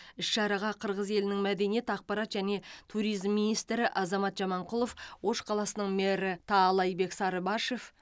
іс шараға қырғыз елінің мәдениет ақпарат және туризм министрі азамат жаманқұлов ош қаласының мэрі таалайбек сарыбашев